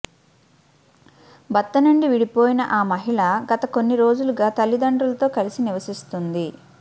భర్త నుండి విడిపోయిన ఆ మహిళ గత కొన్ని రోజులుగా తల్లిదండ్రులతో కలిసి నివసిస్తోంది